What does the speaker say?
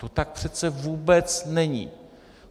To tak přece vůbec není.